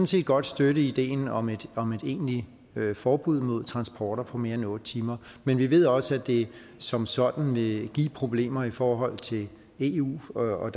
set godt støtte ideen om et egentligt forbud mod transporter på mere end otte timer men vi ved også at det som sådan vil give problemer i forhold til eu og at